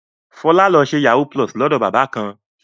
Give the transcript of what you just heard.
Fọlá lọ ṣe yahoo+ lọ́dọ̀ bàbá kan.